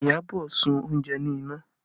Iyabọ̀ sun oúnjẹ ní iná